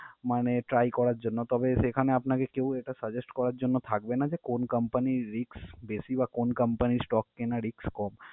মানে try করার জন্য, তবে সেখানে আপনাকে কেউ এটা suggest করার জন্য থাকবে না যে কোন company র risk বেশি বা কোন company র stock কেনা risk কম।